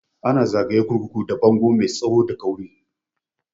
Ana zagaye kurkuku da bango mai tsawo da kauri